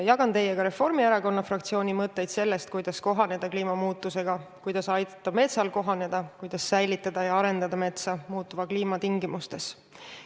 Jagan teiega Reformierakonna fraktsiooni mõtteid sellest, kuidas kohaneda kliimamuutustega, kuidas aidata metsal hakkama saada, kuidas säilitada ja arendada metsa muutuva kliima tingimustes.